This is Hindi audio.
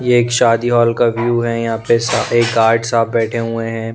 ये एक शादी हॉल का व्यू है यहाँ पे सारे गार्ड्स साब बैठे हुए हैं।